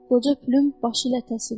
Qoca Pülüm başı ilə təsdiqlədi.